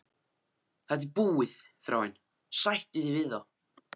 Þetta er búið, Þráinn, sættu þig við það!